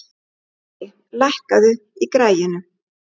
Dorri, lækkaðu í græjunum.